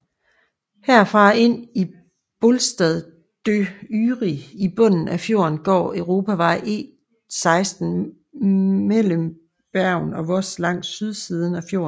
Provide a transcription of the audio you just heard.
Herfra og ind til Bolstadøyri i bunden af fjorden går Europavej E16 mellem Bergen og Voss langs sydsiden af fjorden